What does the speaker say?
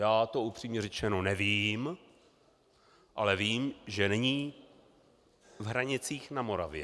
Já to upřímně řečeno nevím, ale vím, že není v Hranicích na Moravě.